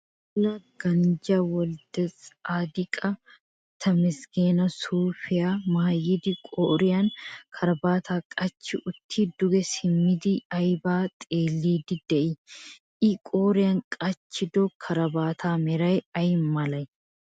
Wodala ganjjiyaa Wolddetsadiqa Tamasggani Suufiyaa maayidi qooriyan karabaataa qachchi uttidi duge simmidi ayibaa xeelliiddi de'ii? I qooriyan qachchido karabaataa meray ayi malee?